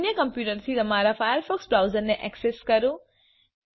અન્ય કમ્પ્યુટરથી તમારા ફાયરફોકસ બ્રાઉઝરને ઍક્સેસ કરો